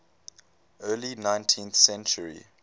early nineteenth century